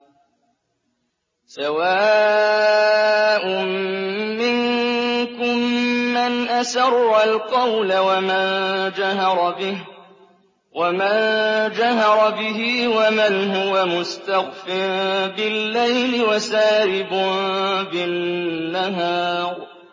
سَوَاءٌ مِّنكُم مَّنْ أَسَرَّ الْقَوْلَ وَمَن جَهَرَ بِهِ وَمَنْ هُوَ مُسْتَخْفٍ بِاللَّيْلِ وَسَارِبٌ بِالنَّهَارِ